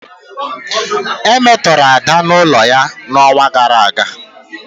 E metọrọ Ada n'ụlọ ya n'ọnwa gara aga.